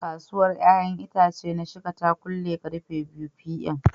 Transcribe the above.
Kasuwa ƴaƴa itace na shika ta kule karfe 2pm.